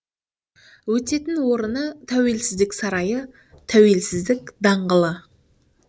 өтетін орыны тәуелсіздік сарайы тәуелсіздік даңғ